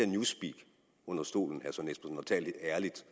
newsspeak under stolen og tale lidt ærligt